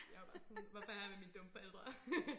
Jeg var bare sådan hvorfor er jeg her med mine dumme forældre